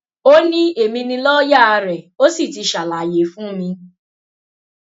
ó ní èmi ni lọọyà rẹ ó sì ti ṣàlàyé fún mi